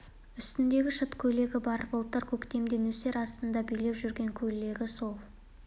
үстінде шыт көйлегі бар былтыр көктемде нөсер астында билеп жүргенде киген көйлегі сол